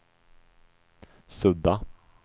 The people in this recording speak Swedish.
sudda